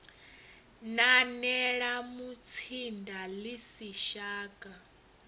nanela mutsinda ḽi si shaka